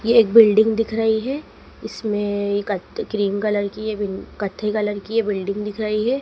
ये एक बिल्डिंग दिख रही है इसमें एक कथ क्रीम कलर की ये कत्थई कलर की ये बिल्डिंग दिख रही है।